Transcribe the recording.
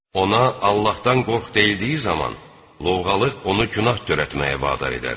Ona "Allahdan qorx" deyildiyi zaman, lovğalıq onu günah törətməyə vadar edər.